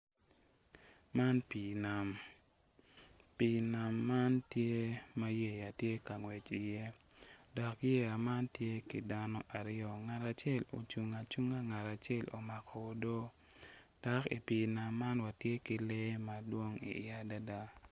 Man pii nam pii nam man tye ma yeya tye ka ngwec iye dok yeya man tye ki dano aryo ngat acel ocung acunga ngat acel omako odoo dok i pii nam man watye ki lee madwong iye adada.